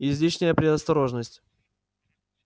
излишняя предосторожность